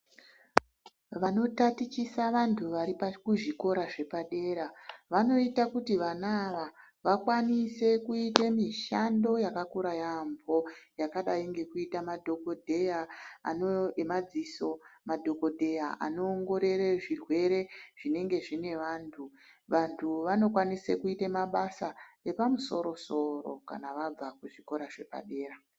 Vanotatichisa vantu vari kuzvikora zvepadera vanoita kuti vana ava vakwanise kuite mishando yakakura yaambo. Yakadai ngekuita madhogodheya emadziso madhogodheya anoongorore zvirwere zvinenge zvine vantu. Vantu vanokwanise kuite mabasa epamusoro-soro kana vabva kuzvikora zvepadera..